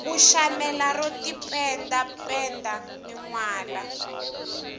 u shamela ro tipenda penda minwalo